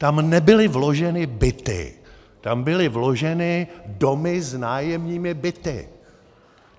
Tam nebyly vloženy byty, tam byly vloženy domy s nájemními byty!